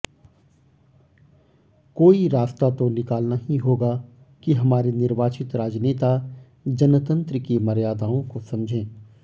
कोई रास्ता तो निकालना ही होगा कि हमारे निर्वाचित राजनेता जनतंत्र की मर्यादाओं को समझें